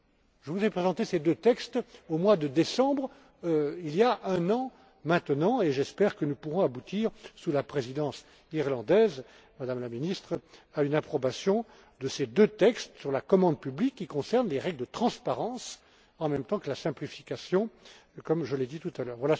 Je vous ai présenté ces deux textes au mois de décembre, il y a un an maintenant, et j'espère que nous pourrons aboutir, sous la présidence irlandaise, Madame la Ministre, à l'approbation de ces deux textes sur la commande publique, qui concernent les règles de transparence, en même temps que la simplification, comme je l'ai dit, tout à l'heure.